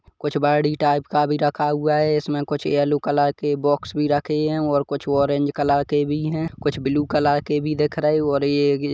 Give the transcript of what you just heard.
कुछ बायोडी टाइप का रखा हुआ है इसमें कुछ यलो कलर के बॉक्स भी रखे हे कुछ और ग कलर के भी हे कुछ ब्लू कलर के भी देख रहे है और ये भी--